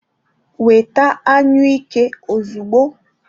Weta anyụike ozugbo.